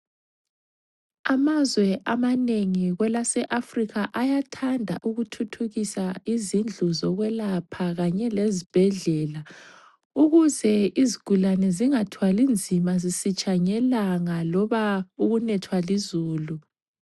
Amazwe amanengi kwelaseAfrica ayathanda ukuthuthukisa izindlu zokwelapha kanye lezibhedlela, ukuze izigulane zingathwali nzima zisitsha ngelanga loba ukunethwa lizulu.